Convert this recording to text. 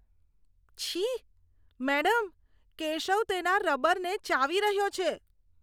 છી! મેડમ, કેશવ તેના રબરને ચાવી રહ્યો છે.